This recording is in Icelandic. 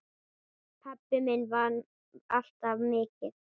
Pabbi minn vann alltaf mikið.